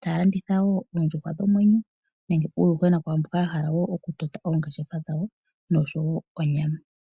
taya landitha wo oondjuhwa dhi na omwenyo nenge uuyuhwena kwaamboka ya hala okutota oongeshefa dhawo noshowo onyama.